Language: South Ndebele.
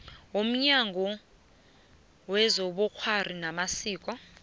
yomnyango wezobukghwari namasiko